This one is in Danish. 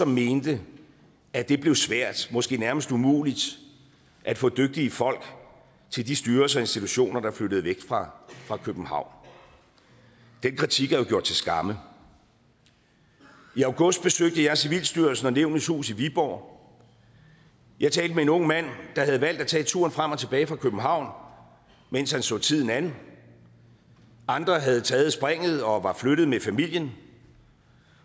mente at det blev svært måske nærmest umuligt at få dygtige folk til de styrelser og institutioner der flyttede væk fra københavn den kritik er jo blevet gjort til skamme i august besøgte jeg civilstyrelsen og nævnenes hus i viborg og jeg talte med en ung mand der havde valgt at tage turen frem og tilbage fra københavn mens han så tiden an andre havde taget springet og var flyttet med familien